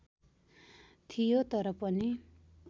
थियो तर पनि